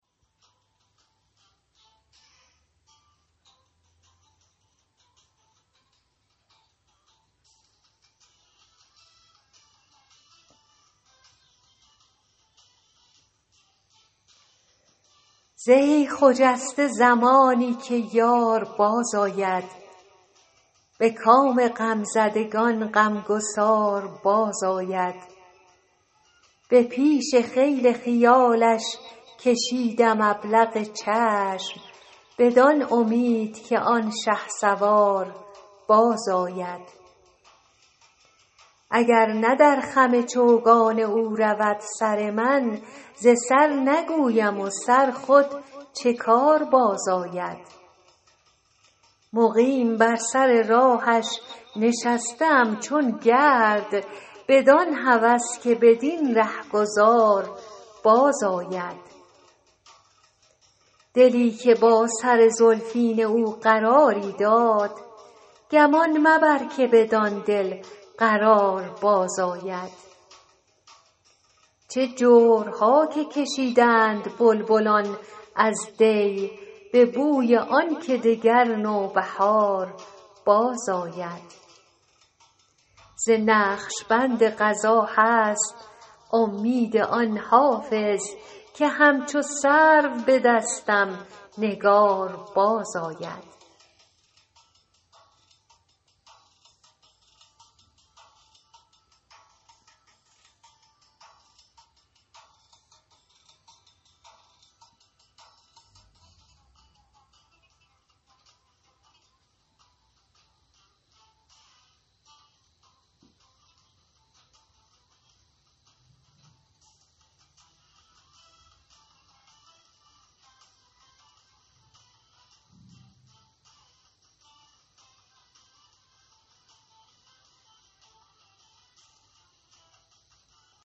زهی خجسته زمانی که یار بازآید به کام غمزدگان غمگسار بازآید به پیش خیل خیالش کشیدم ابلق چشم بدان امید که آن شهسوار بازآید اگر نه در خم چوگان او رود سر من ز سر نگویم و سر خود چه کار بازآید مقیم بر سر راهش نشسته ام چون گرد بدان هوس که بدین رهگذار بازآید دلی که با سر زلفین او قراری داد گمان مبر که بدان دل قرار بازآید چه جورها که کشیدند بلبلان از دی به بوی آن که دگر نوبهار بازآید ز نقش بند قضا هست امید آن حافظ که همچو سرو به دستم نگار بازآید